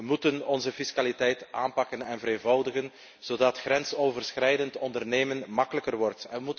We moeten onze fiscaliteit aanpakken en vereenvoudigen, zodat grensoverschrijdend ondernemen gemakkelijker wordt.